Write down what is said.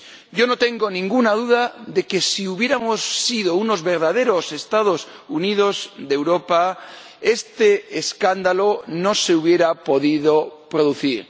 Yo no tengo ninguna duda de que si hubiéramos sido unos verdaderos Estados Unidos de Europa, este escándalo no se habría podido producir.